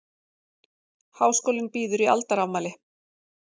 Háskólinn býður í aldarafmæli